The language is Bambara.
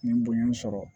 N ye bonya sɔrɔ